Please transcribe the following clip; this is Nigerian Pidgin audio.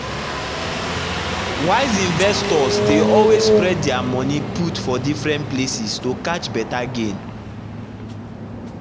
wise investors dey always spread their money put for different places to catch better gain.